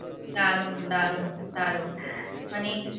দারুন দারুন দারুন মানে